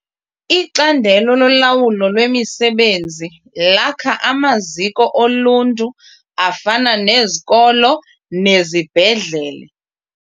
Icandelo lolawulo lwemisebenzi lakha amaziko oluntu afana nezikolo nezibhedlele.